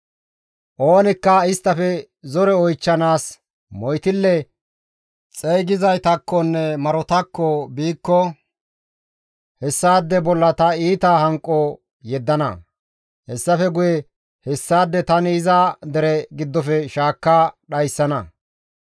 « ‹Oonikka isttafe zore oychchanaas moytille xeygizaytakkonne marotakko biikko hessaade bolla ta iita hanqo yeddana; hessafe guye hessaade tani iza dere giddofe shaakka dhayssana.